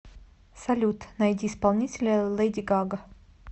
салют найди исполнителя лэди гага